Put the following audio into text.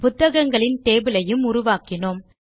புத்தகங்களின் டேபிள் ஐயும் உருவாக்கினோம்